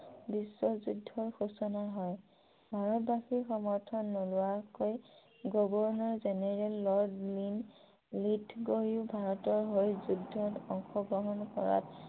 বিশ্বযুদ্ধৰ ঘোষণা হয় । ভাৰতবাসীৰ সমৰ্থন নোলোৱাকৈ গৱৰ্নৰ জেনেৰেল লৰ্ড ভাৰতৰ হৈ যুদ্ধত অংশগ্ৰহন কৰাত